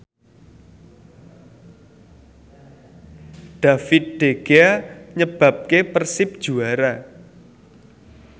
David De Gea nyebabke Persib juara